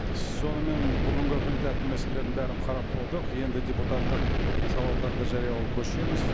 сонымен бүгінгі күн тәртібі мәселелерін бәрін қарап болдық енді депутаттық сауалдарды жариялауға көшеміз